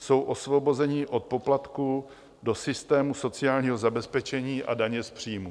Jsou osvobozeni od poplatků do systému sociálního zabezpečení a daně z příjmů.